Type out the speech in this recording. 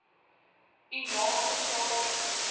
u naaste plaaslike